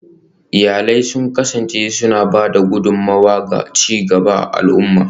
Iyalai sun kasance suna ba da gudummawa ga ci gaban al'umma